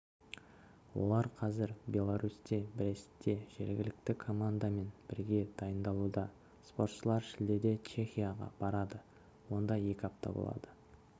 олар қазір беларусьте брестте жергілікті командамен бірге дайындалуда спортшылар шілдеде чехияға барады онда екі апта болады